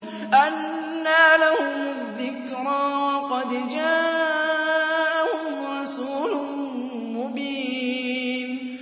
أَنَّىٰ لَهُمُ الذِّكْرَىٰ وَقَدْ جَاءَهُمْ رَسُولٌ مُّبِينٌ